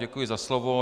Děkuji za slovo.